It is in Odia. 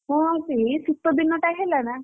ହଁ ଆଉ ସେଇ ଶୀତ ଦିନଟା ହେଲା ନା।